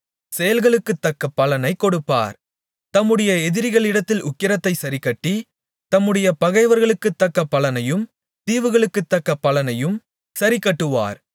செயல்களுக்குத்தக்க பலனை கொடுப்பார் தம்முடைய எதிரிகளிடத்தில் உக்கிரத்தைச் சரிக்கட்டி தம்முடைய பகைவர்களுக்குத்தக்க பலனையும் தீவுகளுக்குத்தக்க பலனையும் சரிக்கட்டுவார்